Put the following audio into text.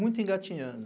Muito engatinhando.